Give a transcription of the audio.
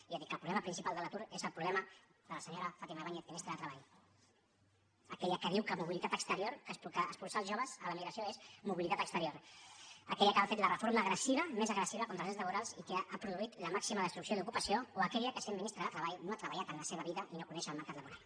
i jo dic que el problema principal de l’atur és el problema de la senyora fátima báñez ministra de treball aquella que diu que mobilitat exterior que expulsar els joves a l’emigració és mobilitat exterior aquella que ha fet la reforma més agressiva contra els drets laborals i que ha produït la màxima destrucció d’ocupació o aquella que sent ministra de treball no ha treballat en la seva vida i no coneix el mercat laboral